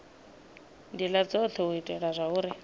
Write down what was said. ndila dzothe u itela zwauri